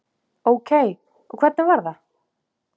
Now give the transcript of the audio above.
Ókei og hvernig var það?